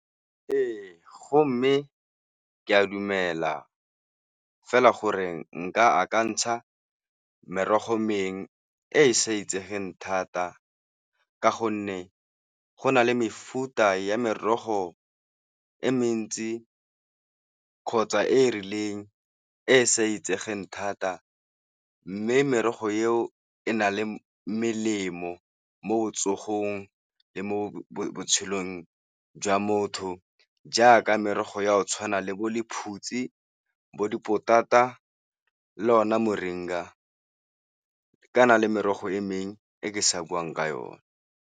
Ee, go mme ke a dumela fela gore nka akantsha merogo mengwe e e sa itsegeng thata ka gonne go na le mefuta ya merogo e mentsi kgotsa e e rileng e e sa itsegeng thata. Mme merogo eo e na le melemo mo botsogong le mo botshelong jwa motho jaaka merogo ya go tshwana le bo lephutsi, bo dipotata le o na Moringa. Ka na le merogo e mengwe e ke sa buang ka yone.